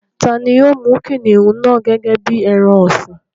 Tani yóò mú kìnìún náà gẹ́gẹ́ bí i ẹran ọ̀sìn?